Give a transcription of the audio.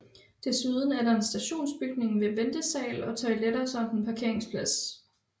Desuden er der en stationsbygning med ventesal og toiletter samt en parkeringsplads